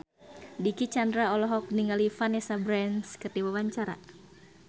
Dicky Chandra olohok ningali Vanessa Branch keur diwawancara